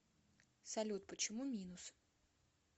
салют почему минус